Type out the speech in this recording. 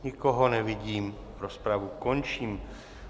Nikoho nevidím, rozpravu končím.